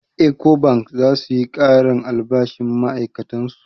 Ecobank za su yi ƙarin albashin ma'ai'katan su.